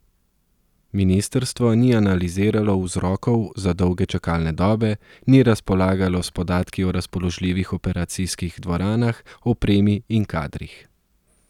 Ministrstvo ni analiziralo vzrokov za dolge čakalne dobe, ni razpolagalo s podatki o razpoložljivih operacijskih dvoranah, opremi in kadrih.